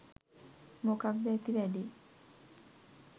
මොකක්ද ඇති වැඩේ?